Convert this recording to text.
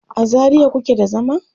a zaria kuke da zama?